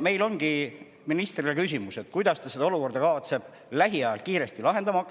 Me küsimegi ministrilt, kuidas ta kavatseb seda olukorda hakata lähiajal lahendama: